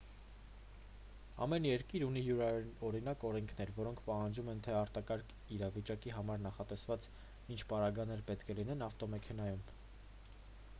ամեն երկիր ունի յուրօրինակ օրենքներ որոնք պահանջում են թե արտակարգ իրավիճակի համար նախատեսված ինչ պարագաներ պետք է լինեն ավտոմեքենայում